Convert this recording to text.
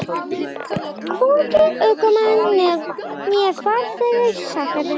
Hvorki ökumann né farþega sakaði.